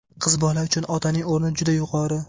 Qiz bola uchun otaning o‘rni juda yuqori.